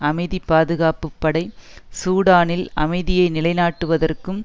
அமைதிகாப்புப்படை சூடானில் அமைதியை நிலை நாட்டுவதற்கும்